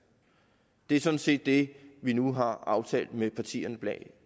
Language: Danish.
det er sådan set det vi nu har aftalt med partierne bag